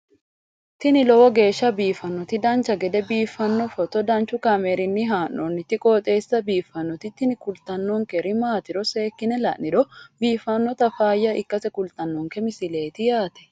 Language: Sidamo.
tini lowo geeshsha biiffannoti dancha gede biiffanno footo danchu kaameerinni haa'noonniti qooxeessa biiffannoti tini kultannori maatiro seekkine la'niro biiffannota faayya ikkase kultannoke misileeti yaate